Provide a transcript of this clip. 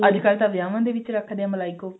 ਅੱਜਕਲ ਤਾਂ ਵਿਆਹਵਾਂ ਦੇ ਵਿੱਚ ਵੀ ਰੱਖਦੇ ਨੇ ਮਲਾਈ ਕੋਫਤਾ